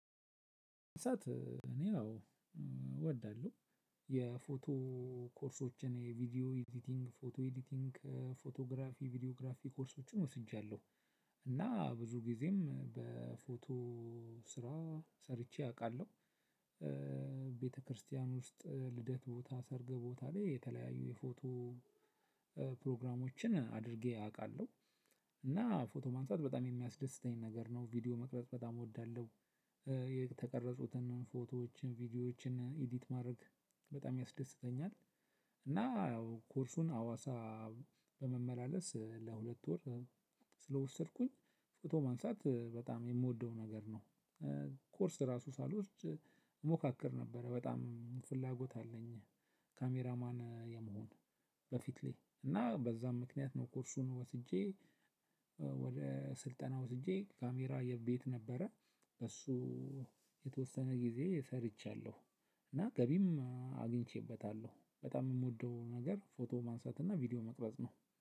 ሳት እኔ አዎ እወዳለሁ የፎቶ ኮርሶችን የቪዲዮ ኤዲቲንግ፣ ፎቶ ኤዲቲንግ፣ ፎቶግራፊ፣ ቪዲዮግራፊ ኮርሶችን ወስጃለሁ። እና ብዙ ጊዜም በፎቶ ስራ ሰርቼ አውቃለሁ። ቤተክርስቲያን ውስጥ ልደት ቦታ ሰርግ ቦታ ላይ የተለያዩ የፎቶ ፕሮግራሞችን አድርጌ አውቃለሁ። እና ፎቶ ማንሳት በጣም የሚያስደስተኝ ነገር ነው። ቪዲዮ መቅረጽ በጣም እወዳለሁ። የተቀረጹትን ፎቶዎችን፣ ቪዲዮዎችን ኢዲት ማድረግ በጣም ያስደስተኛል። እና ኮርሱን ሀዋሳ በመመላለስ ለሁለት ወር ስለወሰድኩኝ ፎቶ ማንሳት በጣም የምወደው ነገር ነው። ኮርስ ራሱ ሳልወስድ እሞካክር ነበር። በጣም ፍላጎት አለኝ ካሜራማን የመሆን በፊት ላይ። እና በዛ ምክንያት ነው ኮርሱን ወስጄ ወደ ስልጠና ወስጄ ካሜራ የቤት ነበረ በሱ የተወሰነ ጊዜ ሰርቻለሁ። እና ገቢም አግኝቼበታለሁ። በጣም የምወደው ነገር ፎቶ ማንሳት እና ቪዲዮ መቅረጽ ነው።